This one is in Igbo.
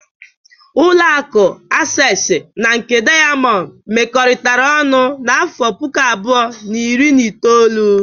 Ụlọaku Asesi na nke Daiyamond mekọtara ọnụ n'afọ puku abụọ, na iri na itoolu.